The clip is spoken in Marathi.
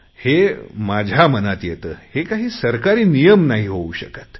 हे माझ्या मनात येते हे काही सरकारी नियम नाही होऊ शकत